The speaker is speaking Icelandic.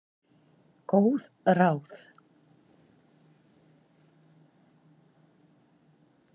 Góð ráð?